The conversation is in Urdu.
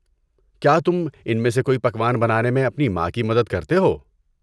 کیا تم ان میں سے کوئی پکوان بنانے میں اپنی ماں کی مدد کرتےہو؟